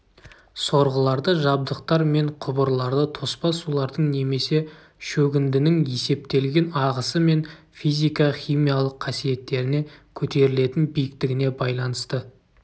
сорғыларды жабдықтар мен құбырларды тоспа сулардың немесе шөгіндінің есептелген ағысы мен физика-химиялық қасиеттеріне көтерілетін биіктігіне байланысты